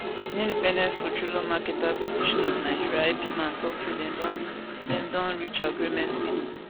di independent petroleum marketers association of nigeria ipman tok say dem don dem don reach agreement wit